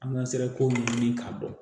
An ka sira ko ɲɛɲini k'a dɔn